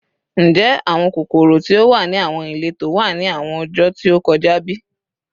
Njẹ awọn kokoro ti o wa ni awọn ileto wa ni awọn ọjọ ti o kọja bi?